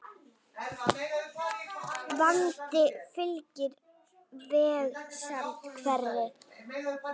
Vandi fylgir vegsemd hverri.